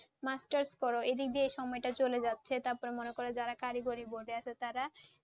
Masters করো এদিক দিয়ে সময়টা চলে যাচ্ছে তার পরে মনে করো যারা কারিগরি board এ আছে তারা